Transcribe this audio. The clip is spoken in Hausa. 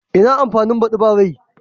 Ina amfani badi ba rai?